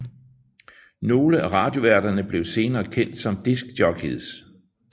Nogle af radioværterne blev senere kendt som disc jockeys